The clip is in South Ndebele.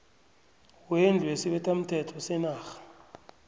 wendlu yesibethamthetho senarha